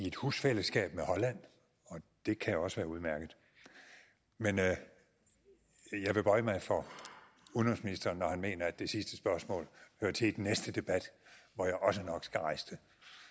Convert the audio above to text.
et husfællesskab med holland og det kan også være udmærket men jeg vil bøje mig for udenrigsministeren når han mener at det sidste spørgsmål hører til i den næste debat hvor jeg også nok skal rejse det